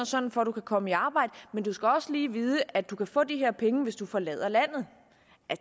sådan for at du kan komme i arbejde men du skal også lige vide at du kan få de her penge hvis du forlader landet